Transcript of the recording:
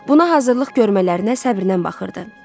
Buna hazırlıq görmələrinə səbrnən baxırdı.